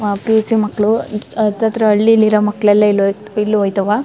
ಆಹ್ಹ್ P _U C ಮಕ್ಕಳು ಹತ್ ಹತ್ರ ಹಳ್ಳಿಲಿರೋ ಮಕ್ಕಳೆಲ್ಲಾ ಇಲ್ಲಿ ಇಲ್ಲಿ ಹೋಯ್ ತವ.